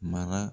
Mara